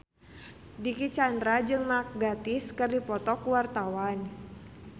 Dicky Chandra jeung Mark Gatiss keur dipoto ku wartawan